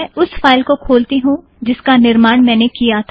मैं उस फाइल को खोलती हूँ जिसका निर्माण मैंने किया था